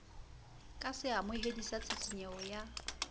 ka seamohedi sa tshisinyeho ya